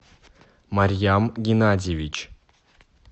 марьям геннадьевич